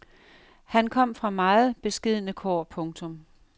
Han kom fra meget beskedne kår. punktum